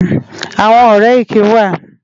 Awòn òrè éké wá